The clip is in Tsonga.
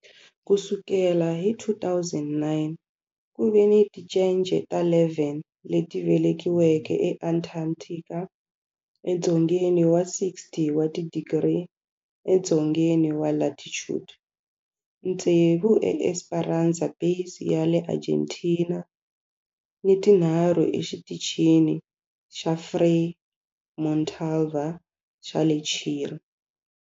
Ku sukela hi 2009, ku ve ni tincece ta 11 leti velekiweke eAntarctica, edzongeni wa 60 wa tidigri edzongeni wa latitude, tsevu eEsperanza Base ya le Argentina ni tinharhu eXitichini xa Frei Montalva xa le Chile.